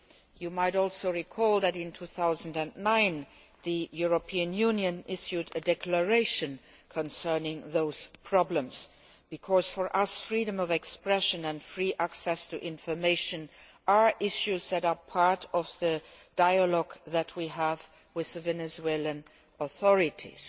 You might also recall that, in 2009, the European Union issued a declaration concerning those problems, because for us freedom of expression and free access to information are issues that are part of the dialogue that we have with the Venezuelan authorities.